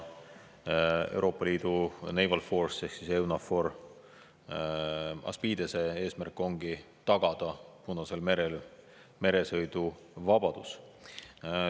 Euroopa Liidu Naval Force'i ehk siis EUNAVFOR ASPIDES-e eesmärk ongi tagada Punasel merel meresõiduvabadus.